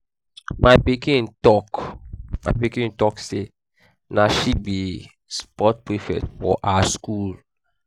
my pikin talk my pikin talk sey na she be um sports prefect for her skool.